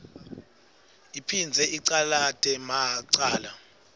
iphindze icalate macala